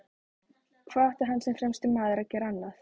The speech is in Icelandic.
Hvað átti hann sem fremsti maður að gera annað?